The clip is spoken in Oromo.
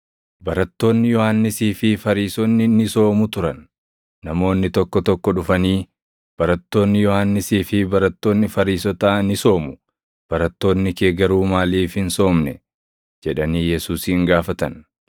Barattoonni Yohannisii fi Fariisonni ni soomu turan. Namoonni tokko tokko dhufanii, “Barattoonni Yohannisii fi barattoonni Fariisotaa ni soomu; barattoonni kee garuu maaliif hin soomne?” jedhanii Yesuusin gaafatan.